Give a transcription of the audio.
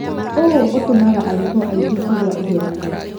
ũũ ũtũmaga arutwo aingĩ kũgwa igeranio.